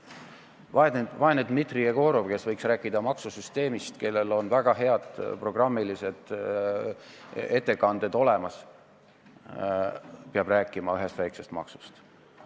Vaene Dmitri Jegorov, kes võiks rääkida maksusüsteemist, kellel on väga head programmilised ettekanded olemas, peab rääkima ühest väikesest maksust.